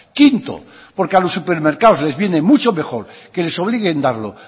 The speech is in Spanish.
quinto porque a los supermercados les viene mucho mejor que les obliguen darlo